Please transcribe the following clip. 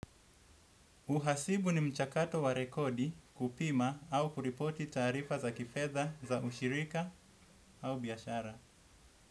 Uhasibu ni mchakato wa rekodi kupima au kuripoti taarifa za kifedha za ushirika au biashara.